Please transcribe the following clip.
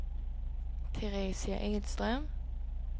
Teresia Edström